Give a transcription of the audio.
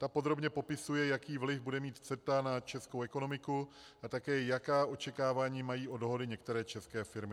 Ta podrobně popisuje, jaký vliv bude mít CETA na českou ekonomiku a také jaká očekávání mají od dohody některé české firmy.